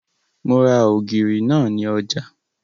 Mo ra ògìrì náà ní ọjà